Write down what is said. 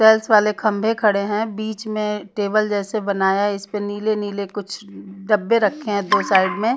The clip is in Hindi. वेल्स वाले खंभे खड़े हैं बीच में टेबल जैसे बनाया है इस पे नीले-नीले कुछ डब्बे रखे हैं दो साइड में--